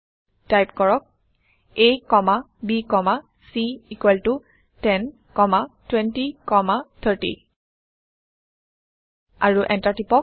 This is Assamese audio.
টাইপ কৰক a comma b comma c equal ত 10 কমা 20 কমা 30 আৰু এণ্টাৰ টিপক